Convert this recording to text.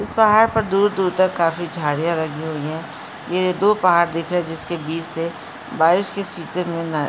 इस पहाड़ पर दूर-दूर तक काफ़ी झाड़ियाँ लगी हुई हैं ये दो पहाड़ दिखरें जिसके बिच से बारिश के सीजन में न --.